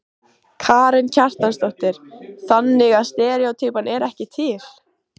Karen Kjartansdóttir: Þannig að steríótýpan er ekki til?